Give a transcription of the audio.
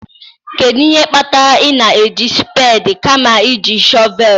Kedu ihe kpatara ị na-eji spedii kama iji shọvel?